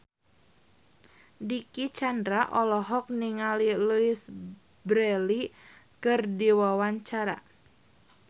Dicky Chandra olohok ningali Louise Brealey keur diwawancara